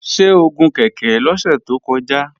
Ṣé o gun kèké lọ́sẹ̀ tó kọjá?